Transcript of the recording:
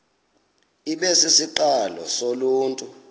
ibe sisiqalo soluntu